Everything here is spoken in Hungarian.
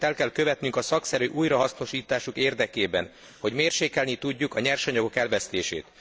Mindent el kell követnünk a szakszerű újrahasznosításuk érdekében, hogy mérsékelni tudjuk a nyersanyagok elvesztését.